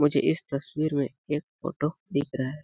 मुझे इस तस्वीर में एक फोटो दिख रहा है। .